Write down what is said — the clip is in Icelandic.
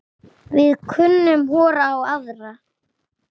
Við kunnum hvor á aðra.